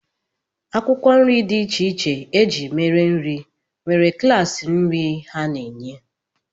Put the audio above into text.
Akwụkwọ nri dị iche iche e ji mere nri nwere klaasị nri ha na-enye